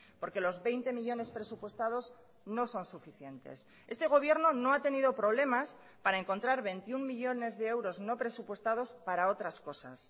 porque los veinte millónes presupuestados no son suficientes este gobierno no ha tenido problemas para encontrar veintiuno millónes de euros no presupuestados para otras cosas